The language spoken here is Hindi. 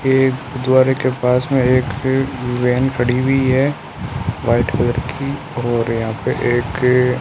एक गुरुद्वारे के पास में एक वेन खड़ी हुई है व्हाइट कलर की और यहां पे एकअ --